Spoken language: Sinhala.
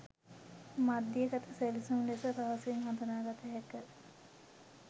මධ්‍යගත සැලසුම් ලෙස පහසුවෙන්ම හදුනාගත හැක.